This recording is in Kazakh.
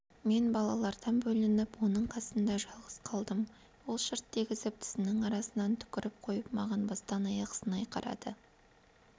мен балалардан бөлініп оның қасында жалғыз қалдым ол шырт дегізіп тісінің арасынан түкіріп қойып маған бастан-аяқ сынай қарады